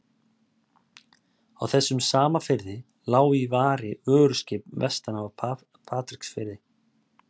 Á þessum sama firði lá í vari vöruskip vestan af Patreksfirði.